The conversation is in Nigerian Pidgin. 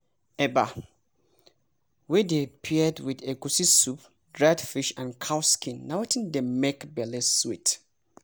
eba wey dey paired with egusi soup dry fish and cow skin na wetin dey make belle sweet!